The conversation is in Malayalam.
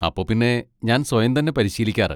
അപ്പോ പിന്നെ ഞാൻ സ്വയം തന്നെ പരിശീലിക്കാറ്.